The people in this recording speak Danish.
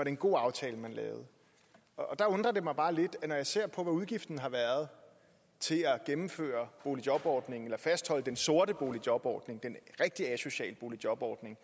en god aftale man lavede og der undrer det mig bare lidt at når jeg ser på hvad udgiften har været til at gennemføre boligjobordningen eller fastholde den sorte boligjobordning den rigtige asociale boligjobordning